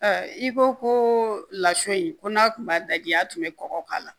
I ko ko lasun in ko n'a tun b'a daji a tun bɛ kɔgɔ k'a la